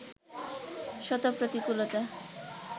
শত প্রতিকূলতা